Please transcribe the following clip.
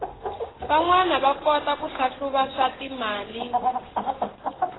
vanwana va kota ku hlahluva swatimali